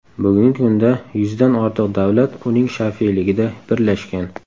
Bugungi kunda yuzdan ortiq davlat uning shafeligida birlashgan.